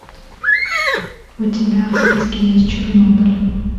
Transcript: у тебя в списке есть чернобыль